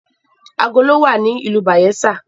Agolo wa ni ìlú Bayelsa.